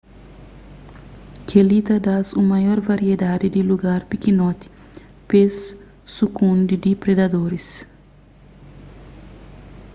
kel-li ta da-s un maior variedadi di lugar pikinoti pe-s sukundi di predadoris